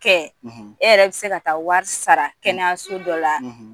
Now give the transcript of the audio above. kɛ e yɛrɛ bɛ se ka taa wari sara kɛnɛyaso dɔ la